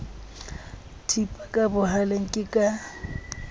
thipa ka bohaleng ke ka